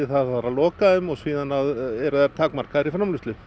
að loka þeim og síðan eru þær takmarkaðar í framleiðslu